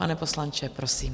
Pane poslanče, prosím.